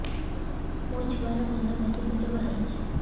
ମୋ ଛୁଆର କାନ ପାଚି ପୁଜ ବାହାରୁଛି